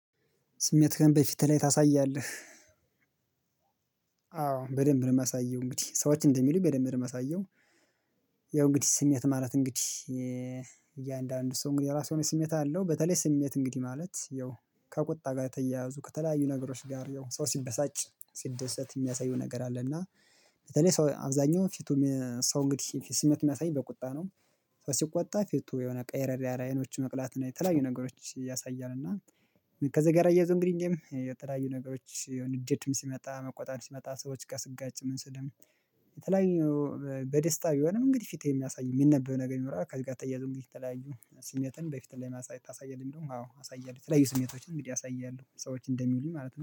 ስሜትህን በፊት ላይ ታሳያለህ አዎ በደንብ ነው የማሳየው እንግዲህ ሰዎች እንደሚሉኝ በደንብ ነው የማሳየው ያው እንግዲህ ስሜት ማለት እንግዲህ እያንዳንዱ ሰው እንግዲህ የራሱ የሆነ ስሜት አለው በተለይ ስሜት እንግዲህ ማለት ያው ከቁጣ ጋር የተያያዙ ከተለያዩ ነገሮች ጋር ያው ሰው ሲበሳጭ ሲደሰት የሚያሳየው ነገር አለ እና ለኔ ሰው አብዛኛው ፊቱ ሰው እንግዲህ ስሜት የሚያሳይ በቁጣ ነው ሰው ሲቆጣ ፊቱ የሆነ ቀየርየር ያለ አይኖቹ መቅላት እና የተለያዩ ነገሮች ያሳያል እና ከዚህ ጋር እያይዞ እንግዲህ የተለያዩ ነገሮች ያው ንዴትም ሲመጣ መቆጣት ሲመጣ ሰዎች ጋር ሲጋጭ ምን ሲልም የተለያዩ በደስታ ቢሆንም እንግዲህ ፊት የሚያሳዩ የሚነበበው ነገር ይኖራል ከዚህ ጋር ተያይዞ እንግዲህ የተለያዩ ስሜትን በፊት ላይ ማሳየት ታሳያለህ የሚለው አዎ አሳያለሁ የተለያዩ ስሜቶችን እንግዲህ አሳያለሁ ሰዎች እንደሚውልኝ ማለት ነው።